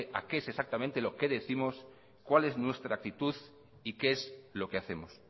qué es exactamente lo que décimos cuál es nuestra actitud y qué es lo que hacemos